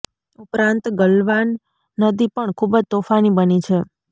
ઉપરાંત ગલવાન નદી પણ ખૂબ જ તોફાની બની છે